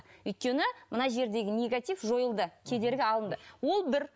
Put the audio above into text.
өйткені мына жердегі негатив жойылды кедергі алынды ол бір